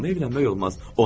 Amma evlənmək olmaz.